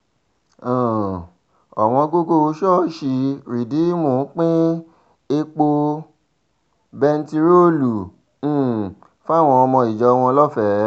um òwòǹgògò ṣọ́ọ̀ṣì rìdíìmù pín epo bẹntiróòlù um fáwọn ọmọ ìjọ wọn lọ́fẹ̀ẹ́